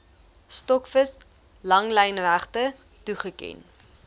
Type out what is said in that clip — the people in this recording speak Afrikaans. stokvis langlynregte toegeken